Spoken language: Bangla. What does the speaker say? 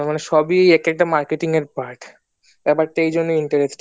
মানে সবই এক একটা marketing এর part ব্যাপারটা এইজন্যেই interesting